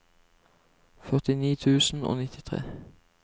førtini tusen og nittitre